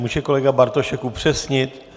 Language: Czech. Může kolega Bartošek upřesnit?